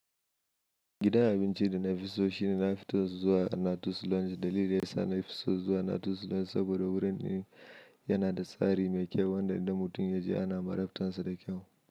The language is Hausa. Gidan abinci da na fi so shine Nafito Zuwa na Dutsin Longe. Dalilin da ya sa na fi so Zuwa na Dutsin Longe saboda wurin yana da tsari mai kyau wanda idan mutum ya je ana marabtar sa da kyau.